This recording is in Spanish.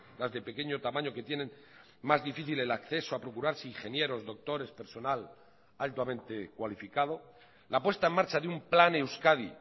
las de pequeño tamaño que tienen más difícil el acceso a procurarse ingenieros doctores personal altamente cualificado la puesta en marcha de un plan euskadi